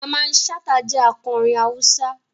Mamman Shata jẹ akọrin Hausa.